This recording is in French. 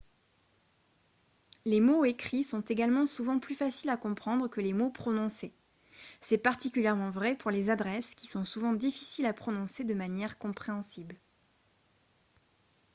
les mots écrits sont également souvent plus faciles à comprendre que les mots prononcés c'est particulièrement vrai pour les adresses qui sont souvent difficiles à prononcer de manière compréhensible